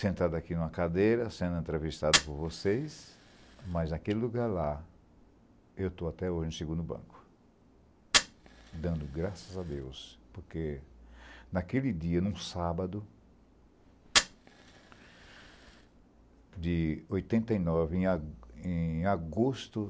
sentado aqui em uma cadeira, sendo entrevistado por vocês, mas, naquele lugar lá, eu estou até hoje no segundo banco, dando graças a Deus, porque, naquele dia, em um sábado, de oitenta e nove, em a em agosto